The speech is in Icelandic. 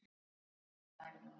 Annað atriði.